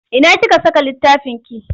Ina kika saka littafinki?